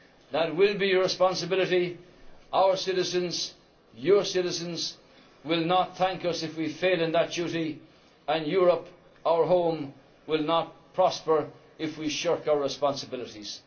that will be your responsibility. Our citizens your citizens will not thank us if we fail in that duty and Europe, our home, will not prosper if we shirk our responsibilities.